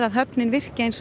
höfnin virki eins og